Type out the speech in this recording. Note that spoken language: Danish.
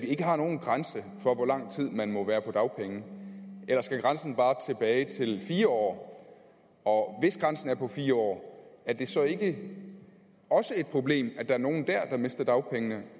ikke har nogen grænse for hvor lang tid man må være på dagpenge eller skal grænsen bare tilbage til fire år og hvis grænsen er på fire år er det så ikke også et problem at der er nogle dér der mister dagpengene